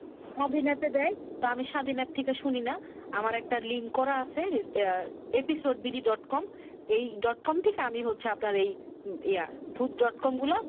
স্বাধীন এপে দেয় তো আমি স্বাধীন এপ থেকে শুনি না আমার একটা লিং করা আছে ইয়া episodeBD dot com এই dot com থেকে আমি হচ্ছে আপনার এই ইয়া ভুত dot com গুলা